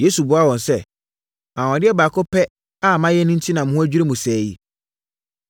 Yesu buaa wɔn sɛ, “Anwanwadeɛ baako pɛ a mayɛ enti na mo ho adwiri mo sɛɛ yi.